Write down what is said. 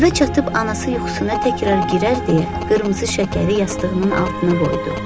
Evə çatıb anası yuxusuna təkrar girər deyə qırmızı şəkəri yastığının altına qoydu.